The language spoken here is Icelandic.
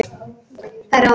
Þær ráða.